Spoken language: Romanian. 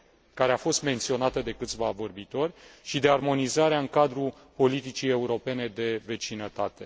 care a fost menționată de câțiva vorbitori, și de armonizarea în cadrul politicii europene de vecinătate.